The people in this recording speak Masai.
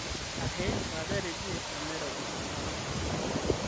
ahe saaja teidie tenairobi tenakata